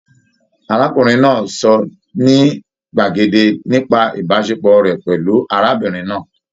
Arákùnrin náà sọ ní gbàgede nípa ìbáṣepọ̀ rẹ pẹlú arábìnrin náà.